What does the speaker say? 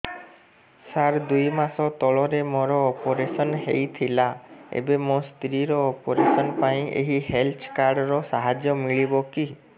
ସାର ଦୁଇ ମାସ ତଳରେ ମୋର ଅପେରସନ ହୈ ଥିଲା ଏବେ ମୋ ସ୍ତ୍ରୀ ର ଅପେରସନ ପାଇଁ ଏହି ହେଲ୍ଥ କାର୍ଡ ର ସାହାଯ୍ୟ ମିଳିବ କି